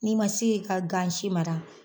N'i man se k'i ka gansi mara